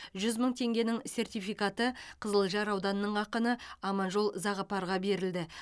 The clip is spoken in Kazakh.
жүз мың теңгенің сертификаты қызылжар ауданының ақыны аманжол зағыпарға берілді